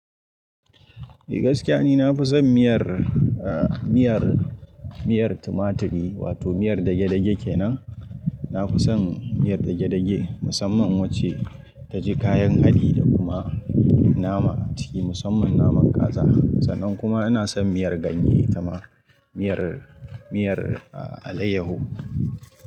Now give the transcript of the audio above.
Ni gaskiya ne na fi son miyar, eh, miyar, miyar tumaturi wato miyar dagedage kenan. Na fi son miyar dagedage musamman wacce ta ji kayan haɗi da kuma nama ciki, musamman naman kaza. Sannan kuma ina son miyar ganye itama miyar, miyar alayyahu.